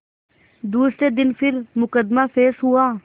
दूसरे दिन फिर मुकदमा पेश हुआ